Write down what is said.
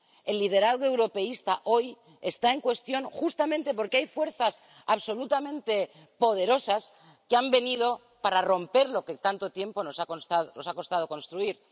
El liderazgo europeísta hoy está en cuestión justamente porque hay fuerzas absolutamente poderosas que han venido a romper lo que tanto tiempo nos ha costado construir.